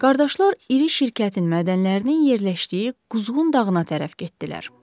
Qardaşlar iri şirkətin mədənlərinin yerləşdiyi Quzğun dağına tərəf getdilər.